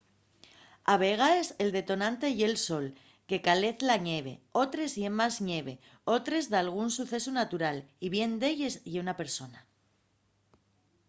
a vegaes el detonante ye'l sol que calez la ñeve otres ye más ñeve otres dalgún sucesu natural y bien d'elles ye una persona